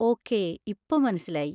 Okay, ഇപ്പൊ മനസ്സിലായി.